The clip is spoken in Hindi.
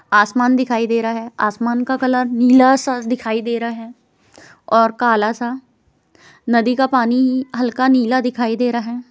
आसमान दिखाई दे रहा हैं आसमान का कलर नीला सा दिखाई दे रहा हैं और काला सा नदी का पानी हल्का नीला दिखाई दे रहा हैं।